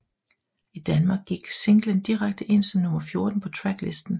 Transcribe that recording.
I Danmark gik singlen direkte ind som nummer 14 på tracklisten